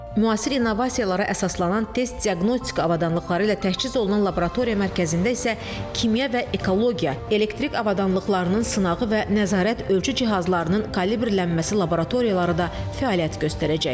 Müasir innovasiyalara əsaslanan test diaqnostika avadanlıqları ilə təchiz olunan laboratoriya mərkəzində isə kimya və ekologiya, elektrik avadanlıqlarının sınağı və nəzarət ölçü cihazlarının kalibrlənməsi laboratoriyaları da fəaliyyət göstərəcəcək.